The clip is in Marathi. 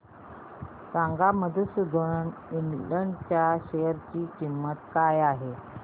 सांगा मधुसूदन इंड च्या शेअर ची किंमत काय आहे